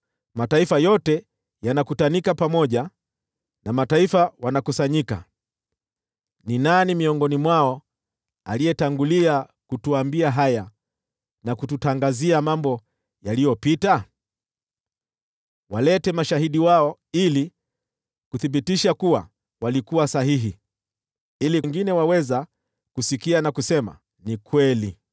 Mataifa yote yanakutanika pamoja, na makabila yanakusanyika. Ni nani miongoni mwao aliyetangulia kutuambia haya, na kututangazia mambo yaliyopita? Walete mashahidi wao ili kuwathibitisha kuwa walikuwa sahihi, ili wengine waweze kusikia, waseme, “Ni kweli.”